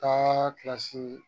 Taa kilasi